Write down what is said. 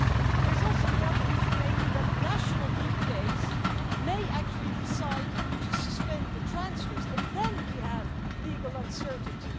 There is also the other issue, namely that national DPAs may actually decide to suspend the transfers and then we have legal uncertainty.